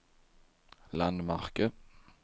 landmärke